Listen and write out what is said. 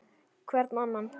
Hvern annan!